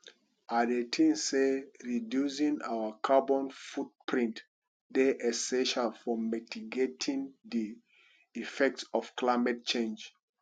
i think say reducing our carbon footprint dey essential for mitigating di effects of climate change